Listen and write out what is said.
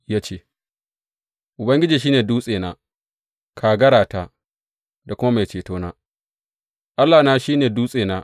Ya ce, Ubangiji shi ne dutsena, kagarata da kuma mai cetona; Allahna shi ne dutsena.